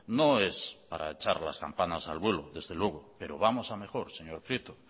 no es para echar las campanas al vuelo desde luego pero vamos a mejor señor prieto